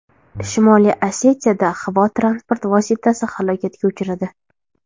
Shimoliy Osetiyada havo transport vositasi halokatga uchradi.